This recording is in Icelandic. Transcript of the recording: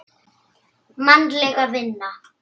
Mannleg vinna